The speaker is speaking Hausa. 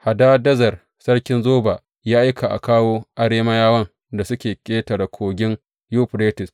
Hadadezer sarkin Zoba ya aika a kawo Arameyawan da suke ƙetaren Kogin Yuferites.